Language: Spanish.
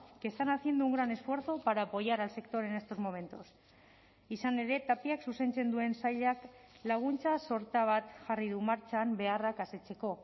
que están haciendo un gran esfuerzo para apoyar al sector en estos momentos izan ere tapiak zuzentzen duen sailak laguntza sorta bat jarri du martxan beharrak asetzeko